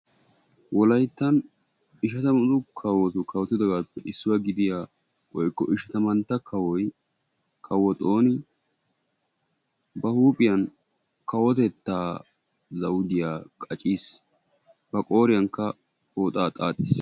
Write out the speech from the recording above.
Wolaytta kawottuppe issoy kawo xooni ba huuphiyan kawotetta zawuddiya wottiis.